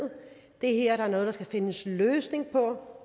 det her er noget der skal findes en løsning på